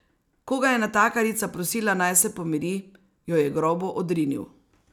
Ko ga je natakarica prosila, naj se pomiri, jo je grobo odrinil.